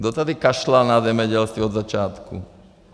Kdo tady kašlal na zemědělství od začátku?